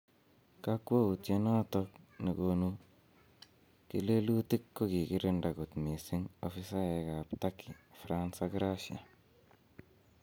Kokwoutyonoton ne konu kelelutik kogikirinda kot mising ofisaek ab Turkey, France ak Russia